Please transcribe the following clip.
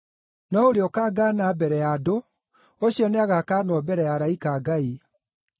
No ũrĩa ũkangaana mbere ya andũ ũcio nĩagakaanwo mbere ya araika a Ngai.